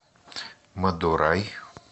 мадурай